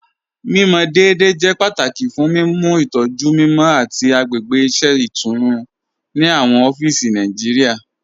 Mimọ deẹ̀dẹ̀ jẹ́ pátàkì fún mímú ìtọ̀jú mímọ àti agbègbè iṣẹ̀ itùnú ni awọn ọ̀fíìsì Nàìjíríà.